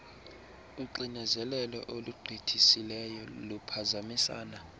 uxinezelelo olugqithisileyo luphazamisana